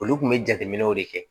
Olu kun be jateminɛw de kɛ